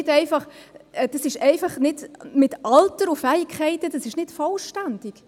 Mit «Alter» und «Fähigkeiten» ist es einfach nicht vollständig.